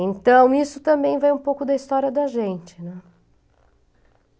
Então, isso também vai um pouco da história da gente, né.